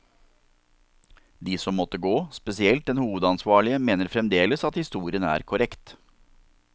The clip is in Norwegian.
De som måtte gå, spesielt den hovedansvarlige, mener fremdeles at historien er korrekt.